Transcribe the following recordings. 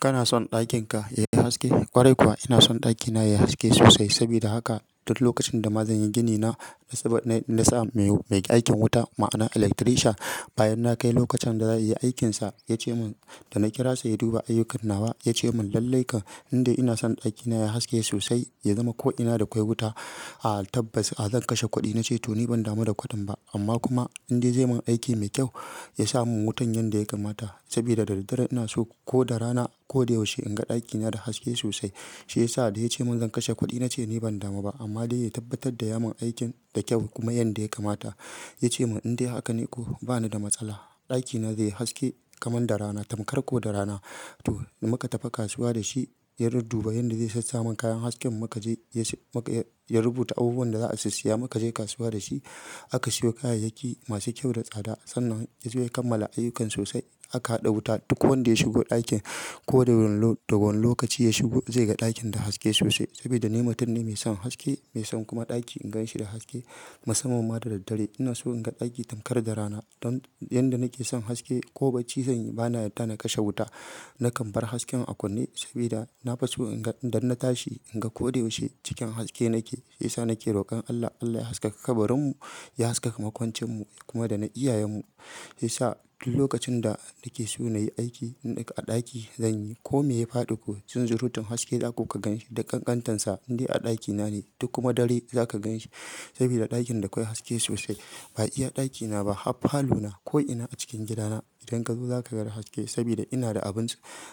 Kana son ɗakin ka yayi haske? Kwarai kuwa ina son ɗakina yayi haske sosai. Sabida haka duk lokacin da ma zan yi gini na, na sa mai aikin wuta ma'ana electrician. Bayan na kai lokacin zaiyi aikinsa yake cemin da kirasa yaduba ayyukan nawa yacemin lalle kam inde kam inason dakina yayi haske sosai yazama ko ina da kwai wuta a tabbas zan kashe kudi na ce to ni ban damu da kuɗin ba amma kuma in dai zai mun aiki mai kyau, ya sa mun wutan yanda ya kamata. Sabida da daddare ina so ko da rana ko da yaushe in ga ɗakina da haske sosai. Shi yasa da ya ce mun zan kashe kuɗi na ce ni ban damu ba amma dai ya tabbatar da ya mun aikin da kyau kuma yanda ya kamata. Ya ce mun in dai haka ne ko bana da matsala, ɗakina zai haske kamar da rana, tamkar ko da rana. To muka tafi kasuwa da shi, ya dudduba yanda zai sassaman kayan hasken muka je ya rubuta abubuwan da zaa susiya muka je kasuwa da shi. Aka siyo kayayyaki masu kyau da tsada sannan ya zo ya kammala ayyukan sosai. Aka haɗa wuta duk wanda ya shigo ɗakin ko da wane lokaci ya shigo zai ga ɗakin da haske sosai. Sabida ni mutum ne mai son haske, mai son kuma ɗaki in gan shi da haske. Musamman ma da daddare ina so in ga ɗaki tankar da rana. Don yanda nake son haske, ko baci zanyi bana yadda na kashe wuta. Na kan bar hasken a kunne saboda na fiso inga idan na tashi inga ko da yaushe cikin haske nake. Shiyasa nke rokon Allah Allah ya haskaka kabarin mu ya haska makwancin mu kuma dana iya yen mu shi yasa duk lokacin da nake so na yi aiki na ɗaki zan yi. Ko me ya faɗi ko, shin zurutin haske za ku ka gan shi da kankantansa in dai a ɗakina ne. Duk kuma dare za ka gan shi sabida ɗakin da kwai haske sosai. Ba iya ɗakina ba har falo na ko ina a cikin gidana idan ka zo za ka ga da haske sabida ina da abun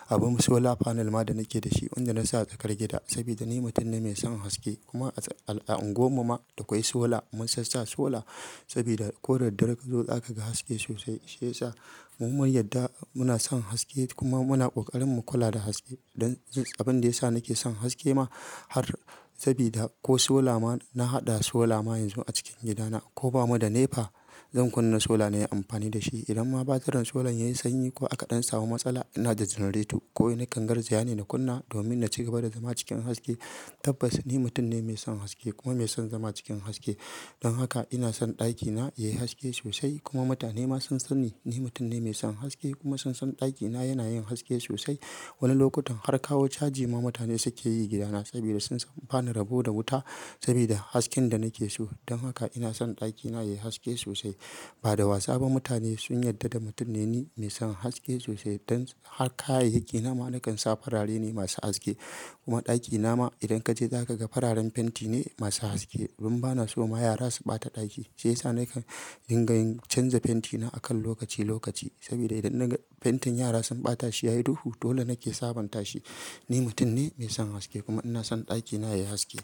abun solar panel ma da nake da shi wanda na sa a tsakar gida. Saboda ni mutum ne mai son haske kuma a unguwar mu ma da kwai sola, mun sassata sola saboda ko da dare ka zo za ka ga haske sosai. Shi yasa mu mu yadda muna son haske kuma muna kokarin mu kula da haske. Don abin da ya sa nake son haske ma har sabida ko solar ma na haɗa sola ma yanzu a cikin gidana. Ko bamu da NEPA zan kunna sola na yi amfani da shi. Idan ma batirin sola ya yi sanyi ko aka ɗan samu matsala ina da generator ko wai kan garjiya ne na kunna domin na cigaba da zama cikin haske. Tabbas ni mutum ne mai son haske kuma mai son zama cikin haske. Don haka ina son ɗakina yayi haske sosai kuma mutane ma sun sani ni mutum ne mai son haske kuma sun san ɗakina yana yin haske sosai. Wani lokutan har kawo caji ma mutane suke yi gidana sabida sun samu bani rabo da wuta sabida hasken da nake so. Don haka ina son ɗakina yayi haske sosai. Ba da wasa ba mutane sun yarda da mutum ne ni mai son haske sosai. Don har kayayyaki na ma na kan sa farare ne masu haske. Kuma ɗakina ma idan ka je za ka ga fararen fenti ne masu haske. Domin bana so ma yara su ɓata ɗaki shi yasa nakan dinga yin canza fenti na a kan lokaci lokaci. Sabida idan fentin yara sun ɓata shi ya yi duhu dole nake sabonta shi. Ni mutum ne mai son haske kuma ina son ɗakina yayi haske.